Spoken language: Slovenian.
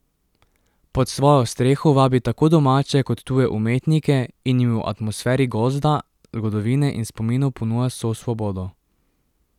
Pod svojo streho vabi tako domače kot tuje umetnike in jim v atmosferi gozda, zgodovine in spominov ponuja vso svobodo.